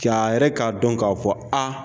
C'a yɛrɛ k'a dɔn k'a fɔ ko aa